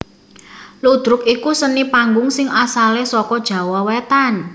Ludruk iku seni panggung sing asalé saka Jawa Wétan